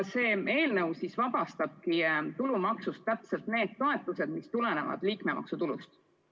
See eelnõu vabastabki tulumaksust just need toetused, mis tulevad liikmemaksutulust.